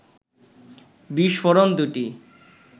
বিস্ফোরণ দুটি